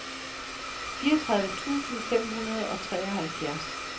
fireogtredive tusind fem hundrede og treoghalvfjerds